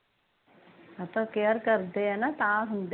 ਉਹ ਤੇ ਕੇਅਰ ਕਰਦੇ ਆ ਨਾ ਤਾ ਹੁੰਦੇ ਆ